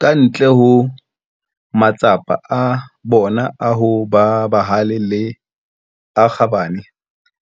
Ka ntle ho matsapa a bona a ho ba bahale le a kgabane,